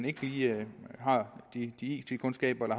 ikke lige har de it kundskaber eller